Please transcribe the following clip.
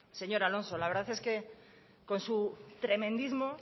señor alonso la verdad es que con su tremendismo